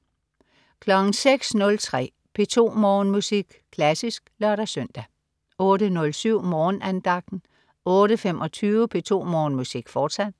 06.03 P2 Morgenmusik. Klassisk (lør-søn) 08.07 Morgenandagten 08.25 P2 Morgenmusik, fortsat